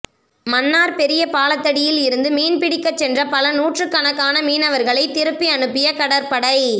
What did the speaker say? மன்னார் பெரிய பாலத்தடியில் இருந்து மீன் பிடிக்கச் சென்ற பல நூற்றுக்கணக்கான மீனவர்களை திருப்பி அனுப்பிய கடற்படை